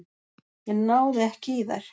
Ég náði ekki í þær.